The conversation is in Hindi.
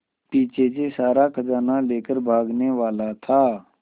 पीछे से सारा खजाना लेकर भागने वाला था